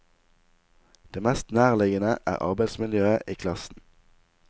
Det mest nærliggende er arbeidsmiljøet i klassen.